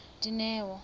dineo